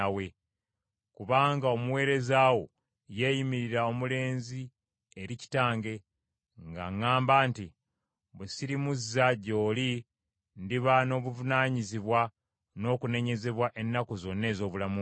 Kubanga omuweereza wo yeeyimirira omulenzi eri kitange; nga ŋŋamba nti, ‘Bwe sirimuzza gy’oli ndiba n’obuvunaanyizibwa n’okunenyezebwa ennaku zonna ez’obulamu bwange.’